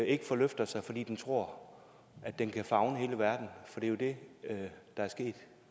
ikke forløfter sig fordi den tror at den kan favne hele verden for det jo det der er sket